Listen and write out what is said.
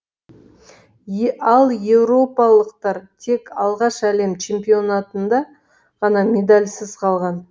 ал еуропалықтар тек алғаш әлем чемпионатында ғана медальсыз қалған